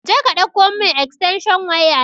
Jeka ɗauko mun estensho waya nan